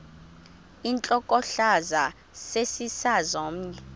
intlokohlaza sesisaz omny